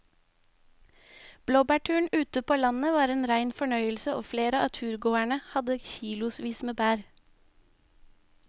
Blåbærturen ute på landet var en rein fornøyelse og flere av turgåerene hadde kilosvis med bær.